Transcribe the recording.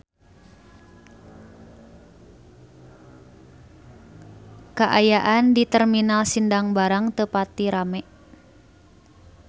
Kaayaan di Terminal Sindang Barang teu pati rame